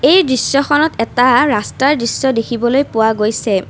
এই দৃশ্যখনত এটা ৰাস্তাৰ দৃশ্য দেখিবলৈ পোৱা গৈছে।